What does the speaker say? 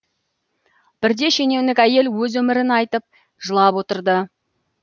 бірде шенеунік әйел өз өмірін айтып жылап отырды